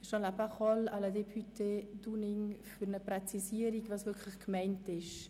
Je passe la parole à la députée Dunning für eine Präzisierung, was wirklich gemeint ist.